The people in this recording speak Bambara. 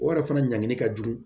O yɛrɛ fana ɲangili ka jugu